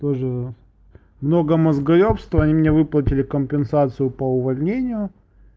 тоже много мозгоёбства они мне выплатили компенсацию по увольнению